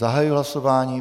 Zahajuji hlasování.